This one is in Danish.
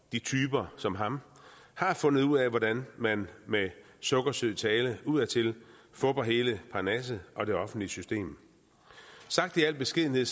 de typer som ham har fundet ud af hvordan man med sukkersød tale udadtil fupper hele parnasset og det offentlige system sagt i al beskedenhed